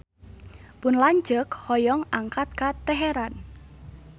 Pun lanceuk hoyong angkat ka Teheran